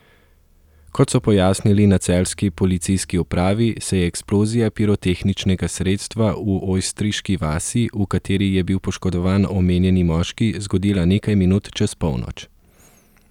Kot so pojasnili na celjski policijski upravi, se je eksplozija pirotehničnega sredstva v Ojstriški vasi, v kateri je bil poškodovan omenjeni moški, zgodila nekaj minut čez polnoč.